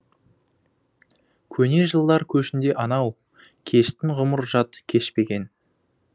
көне жылдар көшінде анау кештің ғұмыр жат кешпеген